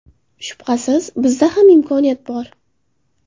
Shubhasiz, bizda ham imkoniyat bor.